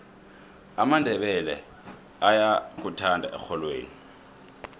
amandebele ayakuthanda erholweni